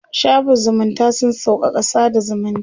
shafin zumunta sun sauƙaƙa sada zumunci